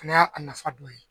Nin y'a a nafa dɔ ye